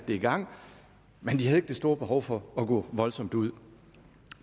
det i gang men de havde ikke det store behov for at gå voldsomt ud